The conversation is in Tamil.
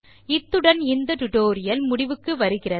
இத்துடன் இந்த டுடோரியல் முடிகிறது